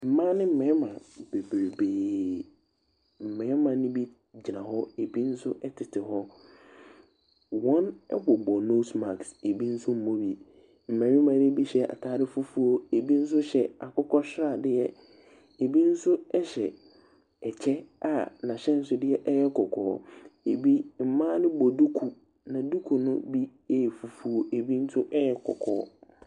Mmaa ne mmarima bebree. Mmarima no bi gyina hɔ, ebi nso tete hɔ. Wɔbobɔ nose matsk. Mmarima no bi hyɛ ataade fufuo. Ebi nso akokɔsradeɛ. Ebi nso hyɛ kyɛ a n'ahyɛnsode yɛ kɔkɔɔ. Ebi mmaa no bɔ duku. Duku no bi yɛ fufuo na ebi nso yɛ kɔkɔɔ.